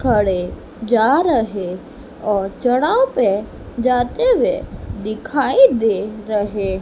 खड़े जा रहे और चढ़ाव पे जाते हुए दिखाई दे रहे--